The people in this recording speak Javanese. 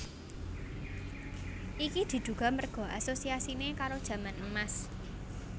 Iki diduga merga asosiasine karo jaman Emas